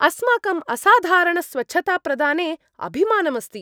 अस्माकम् असाधारणस्वच्छताप्रदाने अभिमानम् अस्ति।